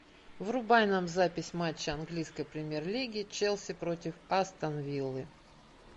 врубай нам запись матча английской премьер лиги челси против астон виллы